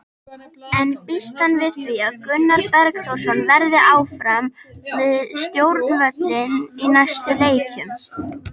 En býst hann við því að Gunnar Borgþórsson verði áfram við stjórnvölinn í næstu leikjum?